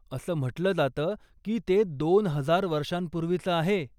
असं म्हंटलं जातं की ते दोन हजार वर्षांपूर्वीचं आहे.